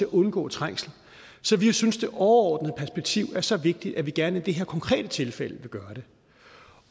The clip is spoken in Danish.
undgå trængsel så vi synes at det overordnede perspektiv er så vigtigt at vi gerne i det her konkrete tilfælde vil gøre det